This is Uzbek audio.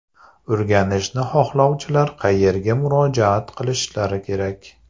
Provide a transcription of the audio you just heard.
O‘rganishni xohlovchilar qayerga murojaat qilishlari kerak?